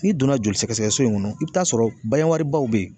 N'i donna joli sɛgɛsɛgɛ so in kɔnɔ, i bi t'a sɔrɔ baw be yen